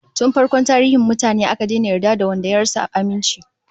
Tun farkon tarihin mutane, aka daina yarda da wanda ya rasa aminci